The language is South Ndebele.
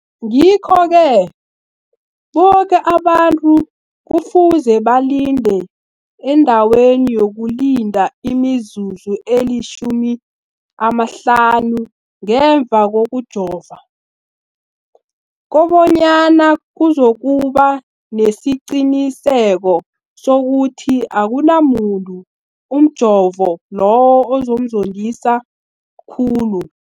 Ngikho-ke boke abantu kufuze balinde endaweni yokulinda imizuzu eli-15 ngemva kokujova, koba nyana kuzokuba nesiqiniseko sokuthi akunamuntu umjovo loyo omzondisa khulu.